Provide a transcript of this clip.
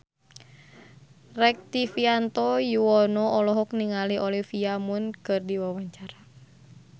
Rektivianto Yoewono olohok ningali Olivia Munn keur diwawancara